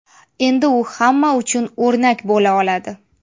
Endi u hamma uchun o‘rnak bo‘la oladi.